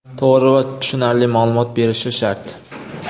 to‘g‘ri va tushunarli maʼlumot berishi shart.